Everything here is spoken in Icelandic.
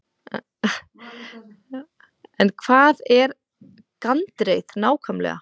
En hvað er gandreið nákvæmlega?